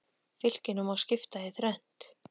Fylkinu má skipta í þrennt.